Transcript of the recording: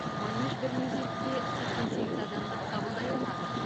манеж бір мезетте сексен сегіз адамды қабылдай алады